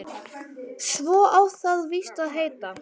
Svo á það víst að heita